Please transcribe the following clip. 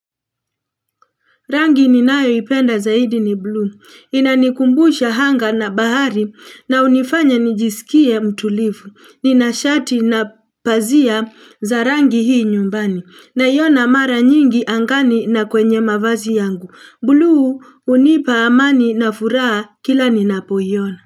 Rangi ni nayo ipenda zaidi ni blue. Inanikumbusha hanga na bahari na unifanya nijisikie mtulivu. Ninashati na pazia za rangi hii nyumbani. Na iona mara nyingi angani na kwenye mavazi yangu. Blue unipa amani na furaha kila ninapoiona.